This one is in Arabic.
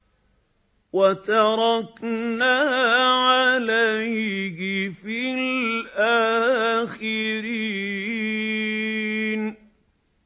وَتَرَكْنَا عَلَيْهِ فِي الْآخِرِينَ